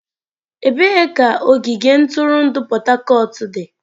Ebee ka ogige ntụrụndụ Port Harcourt dị?